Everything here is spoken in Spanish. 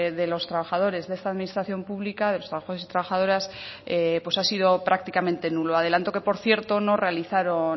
de los trabajadores de esta administración pública de los trabajadores y trabajadoras pues ha sido prácticamente nulo adelanto que por cierto no realizaron